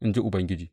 in ji Ubangiji.